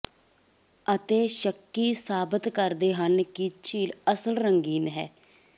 ਅਤੇ ਸ਼ੱਕੀ ਸਾਬਤ ਕਰਦੇ ਹਨ ਕਿ ਝੀਲ ਅਸਲ ਰੰਗੀਨ ਹੈ